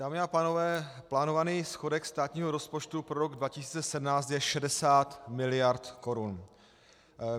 Dámy a pánové, plánovaný schodek státního rozpočtu pro rok 2017 je 60 miliard korun.